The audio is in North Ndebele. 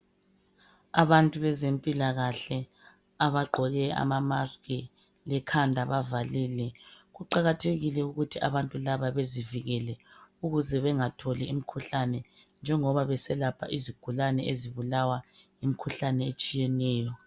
Abantu bezempilakahle abagqoke ama mask, lekhanda bavalile. Kuqakathekile ukuthi abantu laba bezivikele ukuze bengatholi imikhuhlane njengoba beselapha izigulane ezibulawa yimikhuhlane etshiyeneyo.